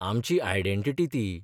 आमची आयडेंटिटी ती.